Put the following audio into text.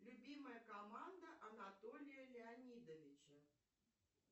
любимая команда анатолия леонидовича